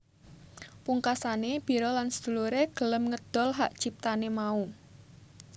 Pungkasane Biro lan sedulure gelem ngedol hak ciptane mau